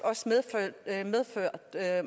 jeg er